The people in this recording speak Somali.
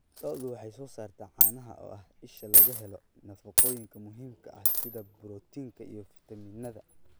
Lo'du waxay soo saartaa caanaha oo ah isha laga helo nafaqooyinka muhiimka ah sida borotiinka iyo fiitamiinnada